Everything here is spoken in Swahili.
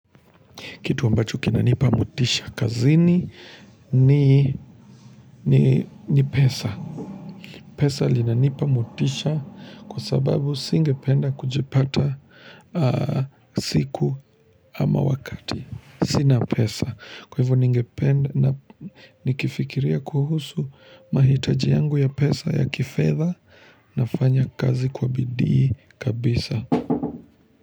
Kitu ambacho kina nipa motisha. Kazini ni pesa. Pesa linanipa motisha kwa sababu singependa kujipata siku ama wakati. Sina pesa. Kwa hivyo ningependa na nikifikiria kuhusu mahitaji yangu ya pesa ya kifedha nafanya kazi kwa bidii kabisa.